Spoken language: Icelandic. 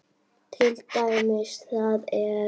Til dæmis þá er